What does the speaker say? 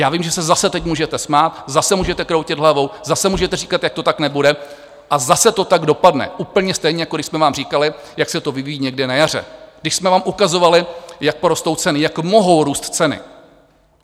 Já vím, že se zase teď můžete smát, zase můžete kroutit hlavou, zase můžete říkat, jak to tak nebude, a zase to tak dopadne, úplně stejně, jako když jsme vám říkali, jak se to vyvíjí někde na jaře, když jsme vám ukazovali, jak porostou ceny, jak mohou růst ceny.